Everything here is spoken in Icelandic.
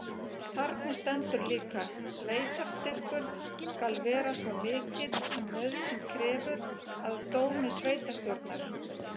Þarna stendur líka: Sveitarstyrkur skal vera svo mikill sem nauðsyn krefur. að dómi sveitarstjórnar.